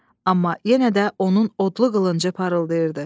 Amma yenə də onun odlu qılıncı parıldayırdı.